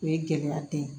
O ye gɛlɛya ta ye